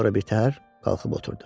Sonra bir təhər qalxıb oturdu.